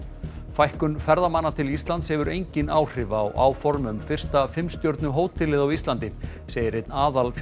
fækkun ferðamanna til Íslands hefur engin áhrif á áform um fyrsta fimm stjörnu hótelið á Íslandi segir einn